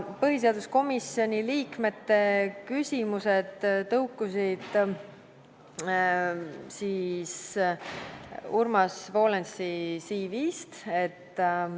Põhiseaduskomisjoni liikmete küsimused tõukusid Urmas Volensi CV-st.